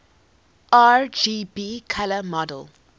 rgb color model